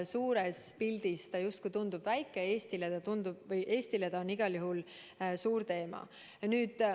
Suures pildis tundub see justkui väike, aga Eestile on see igal juhul suur teema.